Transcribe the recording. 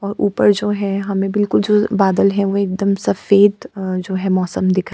और ऊपर जो है हमें बिलकुल जो बादल है वे एकदम सफ़ेद अ जो है मौसम दिखाई --